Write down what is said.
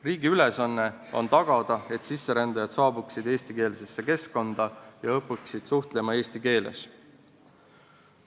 Riigi ülesanne on tagada, et sisserändajad saabuksid eestikeelsesse keskkonda ja õpiksid suhtlema eesti keeles.